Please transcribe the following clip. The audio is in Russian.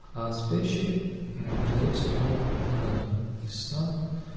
а спящий передаёт сигналы дыханию из сна